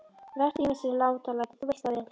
Vertu ekki með þessi látalæti. þú veist það vel!